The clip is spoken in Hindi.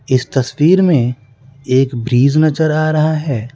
इस तस्वीर में एक ब्रिज नजर आ रहा है।